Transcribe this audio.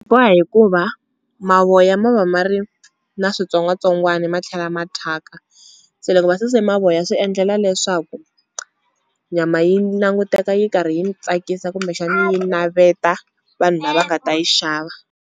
Boha hikuva mavoya ma va ma ri na switsongwatsongwani ma tlhela ma thyaka, se loko va suse mavoya swi endlela leswaku nyama yi languteka yi karhi yi ni tsakisa kumbexani yi naveta vanhu lava nga ta yi xava.